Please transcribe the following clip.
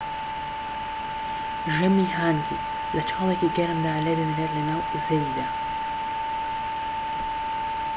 ژەمی هانگی لە چاڵێکی گەرمدا لێدەنرێت لەناو زەویدا